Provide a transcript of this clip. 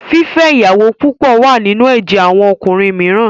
Fífẹ́ ìyàwó púpọ̀ wà nínú ẹ̀jẹ̀ àwọn ọkùnrin mìíràn.